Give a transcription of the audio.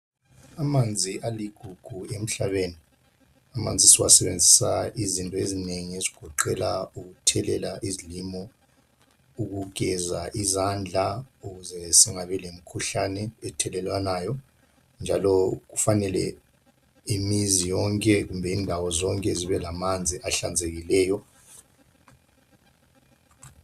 Amanzi aligugu emhlabeni. Amanzi siwasebenzisa izinto ezinengi okugoqela ukuthelela izilimo, ukugeza izandla ukuze singabi lemikhuhlane ethelelwanayo, njalo kufanele imizi yonke kumbe indawo zonke zibe lamanzi ahlanzekileyo.